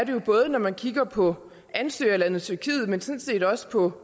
jo både når man kigger på ansøgerlandet tyrkiet men sådan set også på